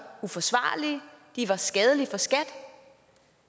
uforsvarlige var skadelige for skat